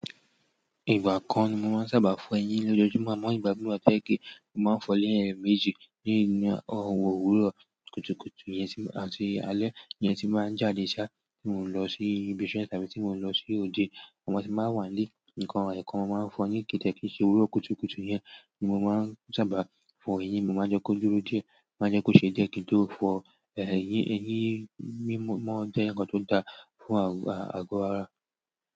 Ìgbà kan ni mo máa ń sábà fọ eyín lójoojúmọ́, àmọ́ ìgbà míì wà tó jẹ́ pé mo máa ń fọ ní ẹ̀mejì. Ní ìgbà ọ̀wọ́ òwúrọ̀ kùtùkùtù yẹn àti alẹ́ nìyẹn tí máa ń jáde ṣá tí mo ń lọ sí ibi iṣẹ́ tàbí tí mo ń lọ sí òde. Àmọ́ tí máa wà ní ilé nǹkan èèkàn ma ń fọ eyín kẹ̀ kì dẹ̀ kín ṣe òwúrọ̀ kùtùkùtù yẹn ni mo máa ń sábà fọ ẹyín. Mo máa ń jẹ́ kó dúró dè ẹ́, máa ń jẹ́ kó ṣe díẹ̀, kín tó fọ eyín, eyín mímọ́ jẹ́ nǹkan tó da fún àgọ́ ara.